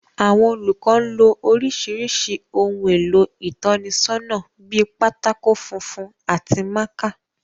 Àwọn olùkọ́ ń lo oríṣiríṣi ohun èlò ìtọ́nisọ́nà bíi pátákó funfun àti mákà